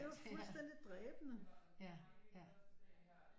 Det var fuldstændig dræbende